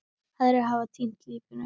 Aðrir hafa týnt lífinu.